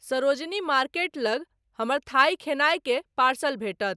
Sarojini market लग हमर थाई खेनायके पार्सल भेटत